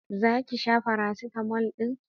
Zaki sha faracetamol din?